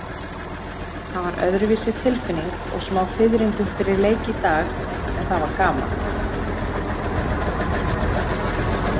Það var öðruvísi tilfinning og smá fiðringur fyrir leik í dag, en það var gaman.